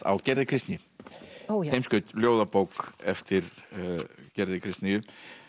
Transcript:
á Gerði Kristný ó já ljóðabók eftir Gerði Kristnýju